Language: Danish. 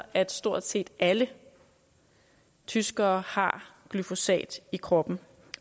at stort set alle tyskere har glyfosat i kroppen